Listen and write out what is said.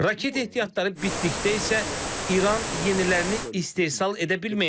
Raket ehtiyatları bitdikdə isə İran yenilərini istehsal edə bilməyəcək.